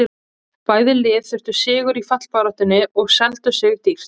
Bæði lið þurftu sigur í fallbaráttunni og seldu sig dýrt.